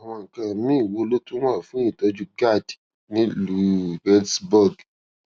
àwọn nǹkan míì wo ló tún wà fún ìtójú gad nílùú reedsburg